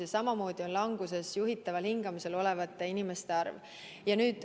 Ja samamoodi on languses juhitaval hingamisel olevate inimeste arv.